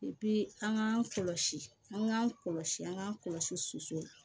an k'an kɔlɔsi an k'an kɔlɔsi an k'an kɔlɔsi soso